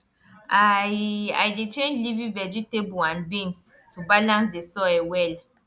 i i dey change leafy vegetable and beans to balance the soil well